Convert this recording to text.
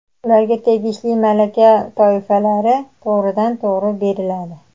ularga tegishli malaka toifalari to‘g‘ridan-to‘g‘ri beriladi;.